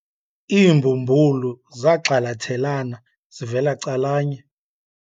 Iimbumbulu zagxalathelana zivela calanye.